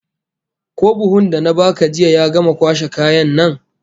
Ko buhun da na baka jiya ya gama kwashe kayan nan?